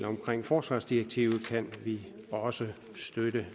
omkring forsvarsdirektivet kan vi også støtte